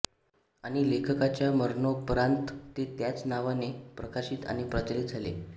आणि लेखकाच्या मरणोपरान्त ते त्याच नावाने प्रकाशित आणि प्रचलित झाले